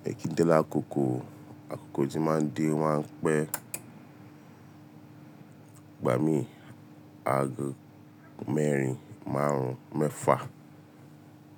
Mi ki n de l'àkókò o, àkókò tí máa ń dé o máa ń pẹ́, igbà mí ago mẹ́rin, márùn-ún, mẹ́fà